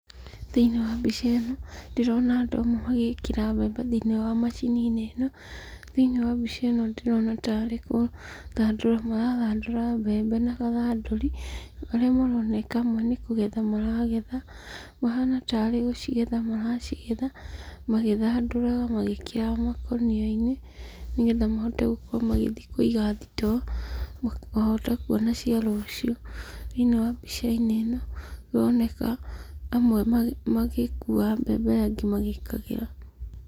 Thĩiniĩ wa mbica ĩno ndĩrona andũ amwe magikĩra mbembe thĩiniĩ wa macini ĩno, thĩiniĩ wa mbica ĩno ndĩrona tarĩ kũthandũra marathandũra mbembe na gathandũri. Arĩa maroneka amwe nĩ kũgetha maragetha, mahana tarĩ gũcigetha maracigetha magĩthandũraga magĩkĩraga makũnia-inĩ, nĩgetha mahote gũkorwo magĩthiĩ kũiga thitoo makahota kuona cia rũciũ. Thĩiniĩ wa mbica-inĩ ĩno ĩroneka amwe magĩkuaga mbembe arĩa angĩ magĩkagĩra.